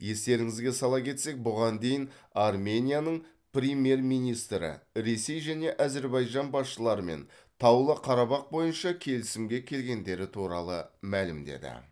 естеріңізге сала кетсек бұған дейін арменияның премьер министрі ресей және әзірбайжан басшыларымен таулы қарабақ бойынша келісімге келгендері туралы мәлімдеді